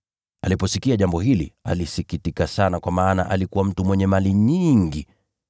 Aliposikia jambo hili, alisikitika sana kwa maana alikuwa mtu mwenye mali nyingi.